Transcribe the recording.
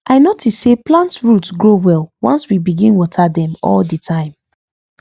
i notice say plant root grow well once we begin water them all the time